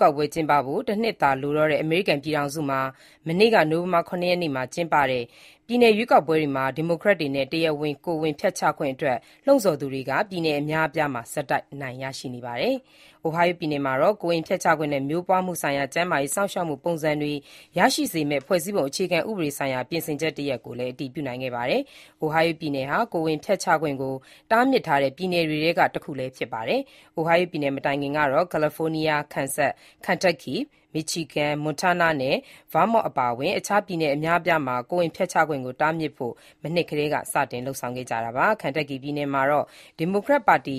ကောက်ပွဲ ကျင်းပဖို့ တနှစ်သာလိုတော့တဲ့ အမေရိကန်ပြည်ထောင်စုမှာ မနေ့ နိုဝင်ဘာ ၇ ရက်နေ့က ကျင်းပတဲ့ ပြည်နယ်ရွေးကောက်ပွဲတွေမှာ ဒီမိုကရက်တွေနဲ့ တရားဝင် ကိုယ်ဝန်ဖျက်ချခွင့်အတွက် လှုံ့ဆော်သူတွေက ပြည်နယ်အများအပြားမှာ ဆက်တိုက် အနိုင်ရရှိနေပါတယ်။ Ohio ပြည်မှာတော့ ကိုယ်ဝန်ဖျက်ချခွင့်နဲ့ မျိုးပွားမှုဆိုင်ရာ ကျန်းမာရေး စောင့်ရှောက်မှုပုံစံတွေ ရရှိစေမယ့် ဖွဲ့စည်းပုံအခြေခံဥပဒေဆိုင်ရာ ပြင်ဆင်ချက်တရပ်ကိုလည်း အတည်ပြုနိုင်ခဲ့ပါတယ်။ Ohio ပြည်နယ်ဟာ ကိုယ်ဝန်ဖျက်ချခွင့်ကို တားမြစ်ထားတဲ့ ပြည်နယ်တွေထဲက တခုလည်းဖြစ်ပါတယ်။ Ohio ပြည်နယ်မတိုင်ခင်ကတော့ California ၊ Kansas ၊ Kentucky ၊ Michigan ၊ Montana နဲ့ Vermont အပါအဝင် အခြားပြည်နယ်အများအပြားမှာ ကိုယ်ဝန်ဖျက်ချခွင့်ကို တားမြစ်ဖို့ မနှစ်ကတည်းက စတင်လုပ်ဆောင်ခဲ့ကြတာပါ။ Kentucky ပြည်နယ်မှာတော့ ဒီမိုကရက်တစ်ပါတီ